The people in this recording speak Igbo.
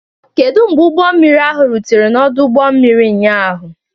Kedu mgbe ụgbọ mmiri ahụ rutere n'ọdụ ụgbọ mmiri ụnyaahụ?